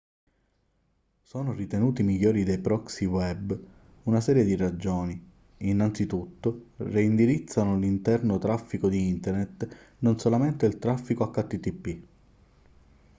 sono ritenuti migliori dei proxy web una serie di ragioni innanzitutto reindirizzano l'interno traffico di internet non solamente il traffico http